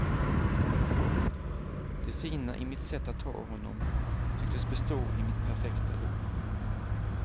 Det fina i mitt sätt att ta honom tycktes bestå i mitt perfekta lugn.